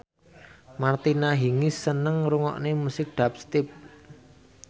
Martina Hingis seneng ngrungokne musik dubstep